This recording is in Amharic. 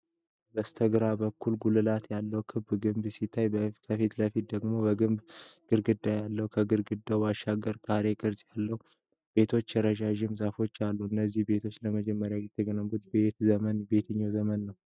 በስተግራ በኩል ጉልላት ያለው ክብ ግንብ ሲታይ፣ ከፊት ለፊት ደግሞ የግንብ ግድግዳ አለ። ከግድግዳው ባሻገር ካሬ ቅርጽ ያላቸው ቤቶችና ረዣዥም ዛፎች አሉ። እነዚህ ቤቶች ለመጀመሪያ ጊዜ የተገነቡት በየትኛው ዘመን ነው?